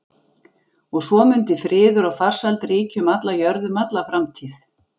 Og svo mundi friður og farsæld ríkja um alla jörð um alla framtíð.